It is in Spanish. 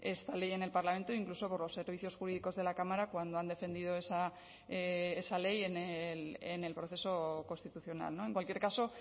esta ley en el parlamento incluso por los servicios jurídicos de la cámara cuando han defendido esa ley en el proceso constitucional en cualquier caso